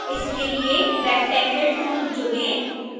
इसके लिए rectangle tool चुनें